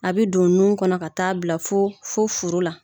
A bɛ don nun kɔnɔ ka taa bila fo fo furu la.